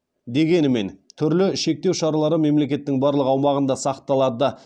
дегенімен түрлі шектеу шаралары мемлекеттің барлық аумағында сақталады